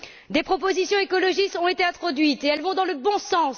Des propositions écologistes ont été introduites et elles vont dans le bon sens.